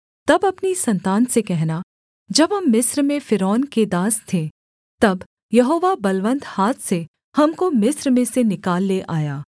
तब अपनी सन्तान से कहना जब हम मिस्र में फ़िरौन के दास थे तब यहोवा बलवन्त हाथ से हमको मिस्र में से निकाल ले आया